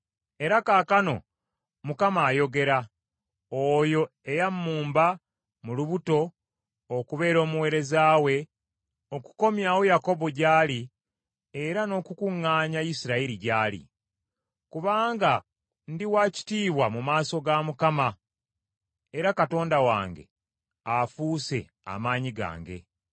Era kaakano Mukama ayogera, oyo eyammumba mu lubuto okubeera omuweereza we, okukomyawo Yakobo gy’ali era n’okukuŋŋaanya Isirayiri gy’ali. Kubanga ndi wa kitiibwa mu maaso ga Mukama era Katonda wange afuuse amaanyi gange.